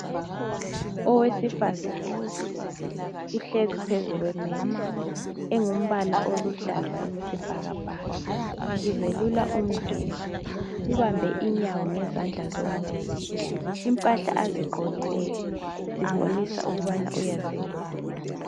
Owesifazane uhlezi phezu kwe methi engumbala oluhlaza okwesibhakabhaka, uzelula umzimba, ubambe inyawo ngezandla zombili. Impahla azigqokileyo zibonisa ukubana uyazelula.